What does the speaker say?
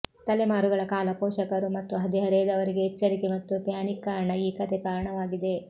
ತಲೆಮಾರುಗಳ ಕಾಲ ಪೋಷಕರು ಮತ್ತು ಹದಿಹರೆಯದವರಿಗೆ ಎಚ್ಚರಿಕೆ ಮತ್ತು ಪ್ಯಾನಿಕ್ ಕಾರಣ ಈ ಕಥೆ ಕಾರಣವಾಗಿದೆ